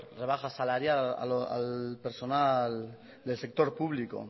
rebaja salarial al personal del sector público